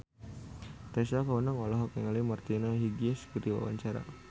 Tessa Kaunang olohok ningali Martina Hingis keur diwawancara